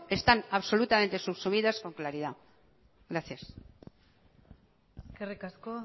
están absolutamente subsumidas con claridad gracias eskerrik asko